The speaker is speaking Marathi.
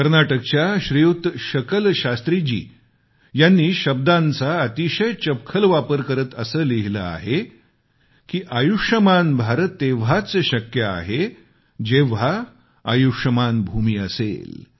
कर्नाटकच्या श्रीयुत शकल शास्त्रीजी यांनी शब्दांचा अतिशय चपखल वापर करत असे लिहिले की आयुष्मान भारत तेव्हाच शक्य आहे जेव्हा आयुष्मान भूमी असेल